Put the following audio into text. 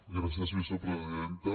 gràcies vicepresidenta